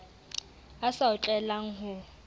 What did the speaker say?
a sa o tlwaelang ho